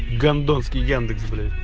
гордонский яндекс блять